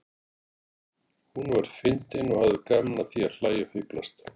Hún var fyndin og hafði gaman af því að hlæja og fíflast.